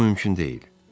Bu mümkün deyil.